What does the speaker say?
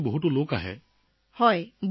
sir বহুত মানুহৰ ভিৰ লাগে